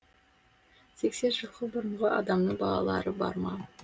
сексен жылғы бұрынғы адамның балалары бар ма